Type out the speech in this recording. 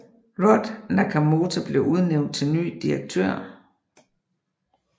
Rod Nakamoto blev udnævnt til ny direktør